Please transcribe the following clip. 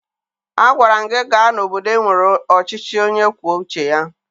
Agwara m gị gaa n'obodo e nwere ọchịchị onye kwuo uche ya!